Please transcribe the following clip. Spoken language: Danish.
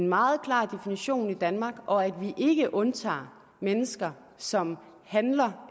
meget klar definition i danmark og at vi ikke undtager mennesker som handler